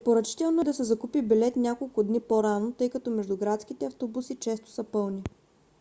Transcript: препоръчително е да се закупи билет няколко дни по-рано тъй като междуградските автобуси често са пълни